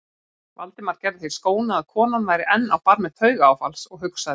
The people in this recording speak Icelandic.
Valdimar gerði því skóna að konan væri enn á barmi taugaáfalls og hugsaði